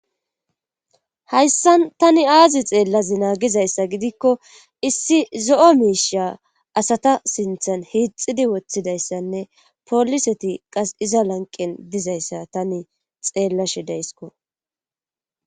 hayssan tani aazi xeellazina gizayssa gidikko issi zo'o miisha asata sinthan hiixidi woththidayssanne poliseti qas iza lanqen dizayssa tani xeellashe dayiseko